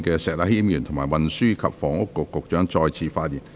石禮謙議員，請問你是否想再次發言。